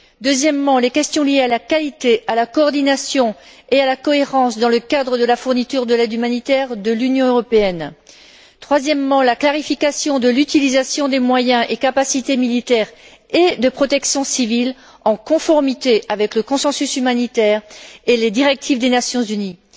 Un deuxième domaine concerne les questions liées à la qualité, à la coordination et à la cohérence dans le cadre de la fourniture de l'aide humanitaire de l'Union européenne, et un troisième élément est la clarification de l'utilisation des moyens et capacités militaires et de protection civile en conformité avec le consensus humanitaire et les directives des Nations unies.